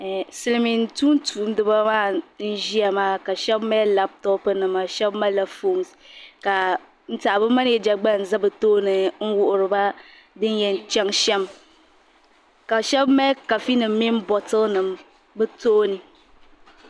Silmiin tumtum diba maa n ʒiya ka shab mali labtop nima shab malila foon ka n tiɛhi bi manija gba n ʒɛ bi tooni n wuhuriba din yɛn chɛŋ shɛm ka shab mali kafi nim mini botili nim bi tooni